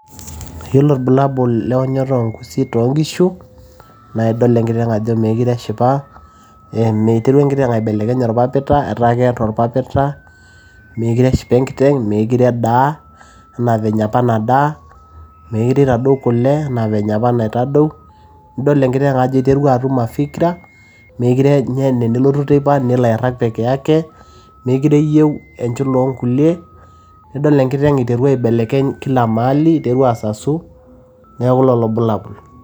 yiolo irbulabul leonyoto oongusi ttonkishu naa idol enkiteng ajo meekire eshipa iterua enkiteng aibelekeny orpapita etaa keeta orpapita meekire eshipa enkiteng meekire edaa enaa venye apa nadaa meekire itadou kule enaa venye apa enitadou nidol enkiteng ajo iterua atum mafikra meekire nye enelotu teipa nelo airrag peke yake mekire eyieu enchula oongulie nidol enkiteng kila maali iterua asasu neeku lolo irbulabul.